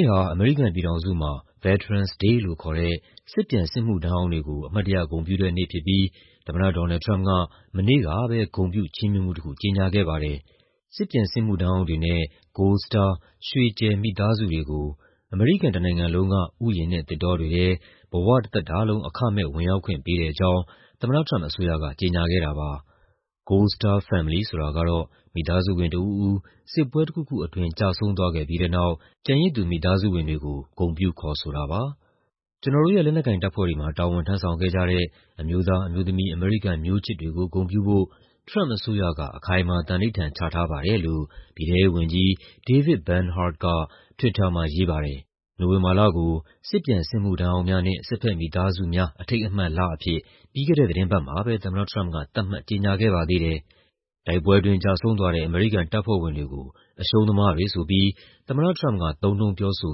ေ့ဟာ အမေရိကန်ပြည်ထောင်စုမှာ Veterans Day လို့ခေါ်တဲ့ စစ်ပြန်စစ်မှုထမ်းဟောင်းတွေကို အမှတ်တရ ဂုဏ်ပြုတဲ့နေ့ဖြစ်ပြီး သမ္မတ ဒေါ်နယ်လ်ဒ် ထရမ့်ပ်က မနေ့ကပဲ ဂုဏ်ပြု ချီးမြှင့်မှုတခု ကြေညာခဲ့ပါတယ်။ စစ်ပြန်စစ်မှုထမ်းဟောင်းတွေနဲ့ Gold Star ရွှေကြယ် မိသားစုတွေကို အမေရိကန်တနိုင်ငံလုံးက ဥယျာဉ်နဲ့သစ်တောတွေထဲ ဘဝတသက်တာလုံး အခမဲ့ဝင်ရောက်ခွင့်ပေးတဲ့အကြောင်း သမ္မတထရမ့်ပ်အစိုးရက ကြေညာခဲ့တာပါ။ Gold Star Family ဆိုတာကတော့ မိသားစုဝင်တဦးဦး စစ်ပွဲတခုခုအတွင်း ကျဆုံးသွားခဲ့ပြီးတဲ့နောက် ကျန်ရစ်သူ မိသားစုဝင်တွေကို ဂုဏ်ပြုခေါ်ဆိုတာပါ။ "ကျနော်တို့ရဲ့ လက်နက်ကိုင်တပ်ဖွဲ့တွေမှာ တာဝန်ထမ်းဆောင်ခဲ့ကြတဲ့ အမျိုးသား၊ အမျိုးသမီး အမေရိကန်မျိုးချစ်တွေကို ဂုဏ်ပြုဖို့ ထရမ့်ပ်အစိုးရက အခိုင်အမာ သန္နိဋ္ဌာန်ချထားပါတယ်။" လို့ ပြည်ထဲရေးဝန်ကြီး David L. Bernhardt က Twitter မှာ ရေးပါတယ်။ နိုဝင်ဘာလကို "စစ်ပြန်စစ်မှုထမ်းဟောင်းများနှင့် စစ်ဘက်မိသားစုများ အထိမ်းအမှတ်" အဖြစ် ပြီးခဲ့တဲ့ သီတင်းပတ်မှာပဲ သမ္မတထရမ့်ပ်က သတ်မှတ် ကြေညာခဲ့ပါသေးတယ်။ တိုက်ပွဲအတွင်း ကျဆုံးသွားတဲ့ အမေရိကန်တပ်ဖွဲ့ဝင်တွေကို အရှုံးသမားတွေဆိုပြီး သမ္မတထရမ့်ပ်က သုံးနှုန်းပြောဆို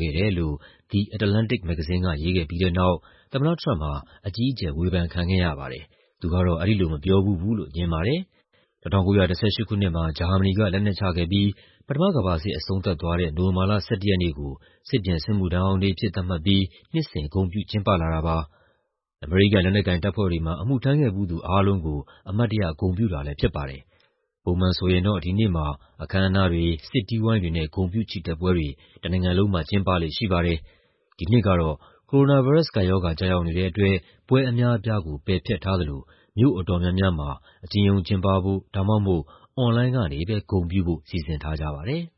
ခဲ့တယ်လို့ The Atlantic မဂ္ဂဇင်းက ရေးခဲ့ပြီးတဲ့နောက် သမ္မတထရမ့်ပ်ဟာ အကြီးအကျယ် ဝေဖန်ခံခဲ့ရပါတယ်။ သူကတော့ အဲဒီလိုမပြောဖူးဘူးလို့ ငြင်းပါတယ်။ ၁၉၁၈ ခုနှစ်မှာ ဂျာမနီက လက်နက်ချခဲ့ပြီး ပထမကမ္ဘာစစ် အဆုံးသတ်သွားတဲ့ နိုဝင်ဘာလ ၁၁ ရက်နေ့ကို စစ်ပြန်စစ်မှုထမ်းဟောင်းနေ့အဖြစ် သတ်မှတ်ပြီး နှစ်စဉ် ဂုဏ်ပြုကျင်းပလာတာပါ။ အမေရိကန် လက်နက်ကိုင်တပ်ဖွဲ့တွေမှာ အမှုထမ်းခဲ့ဖူးသူအားလုံးကို အမှတ်တရ ဂုဏ်ပြုတာလည်းဖြစ်ပါတယ်။ ပုံမှန်ဆိုရင်တော့ ဒီနေ့မှာ အခမ်းအနားတွေ၊ စစ်တီးဝိုင်းတွေနဲ့ ဂုဏ်ပြုချီတက်ပွဲတွေ တနိုင်ငံလုံးမှာ ကျင်းပလေ့ရှိပါတယ်။ ဒီနှစ်ကတော့ ကိုရိုနာဗိုင်းရပ်စ်ကပ်ရောဂါ ကျရောက်နေတဲ့အတွက် ပွဲအများအပြားကို ပယ်ဖျက်ထားသလို မြို့အတော်များများမှာ အကျဉ်းရုံးကျင်းပဖို့ ဒါမှမဟုတ် အွန်လိုင်းကနေပဲ ဂုဏ်ပြုဖို့ စီစဉ်ထားကြပါတယ်။